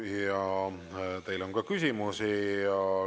Ja teile on ka küsimusi.